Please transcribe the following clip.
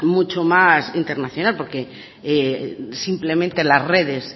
mucho más internacional porque simplemente la redes